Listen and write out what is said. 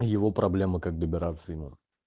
его проблемы как добираться ему